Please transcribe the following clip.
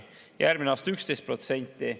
Järgmisel aastal peaks palgatõus olema 11%.